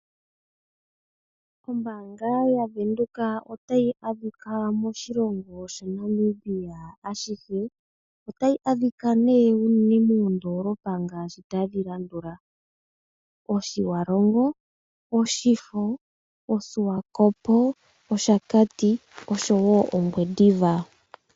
Ombaanga yaVenduka otayi adhika moshilongo shaNamibia ashihe. Otayi adhika unene moondoolopa ngaashi tadhi landula Otjiwarongo, Oshifo, oSwakop, Oshakati oshowo Ongwediva.